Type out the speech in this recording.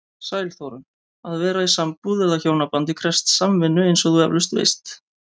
Sæl Þórunn, að vera í sambúð eða hjónabandi krefst samvinnu eins og þú efalaust veist.